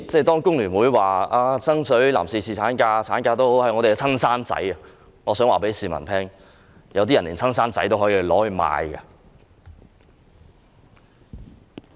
當工聯會說爭取侍產假及產假是他們的"親生仔"，我想告訴市民，有些人連親生子女也可以賣掉。